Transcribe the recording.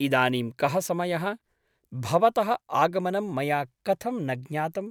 इदानीं कः समयः ? भवतः आगमनं मया कथं न ज्ञातम् ?